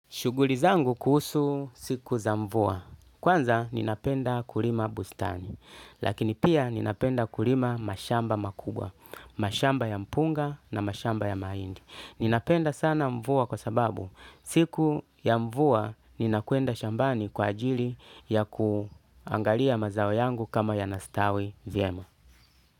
Shughuli zangu kuhusu siku za mvua, kwanza ninapenda kulima bustani, lakini pia ninapenda kulima mashamba makubwa, mashamba ya mpunga na mashamba ya mahindi. Ninapenda sana mvua kwa sababu siku ya mvua ninakwenda shambani kwa ajili ya kuangalia mazao yangu kama yanastawi vyema.